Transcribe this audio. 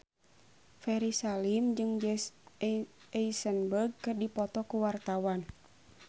Ferry Salim jeung Jesse Eisenberg keur dipoto ku wartawan